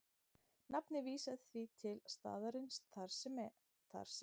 Nafnið vísar því til staðarins þar sem